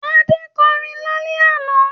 Adé kọrin lálẹ́ àná?